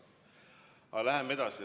Aga läheme edasi.